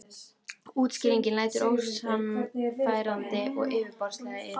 Útskýringin lætur ósannfærandi og yfirborðslega í eyrum.